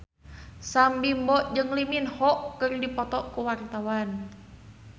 Sam Bimbo jeung Lee Min Ho keur dipoto ku wartawan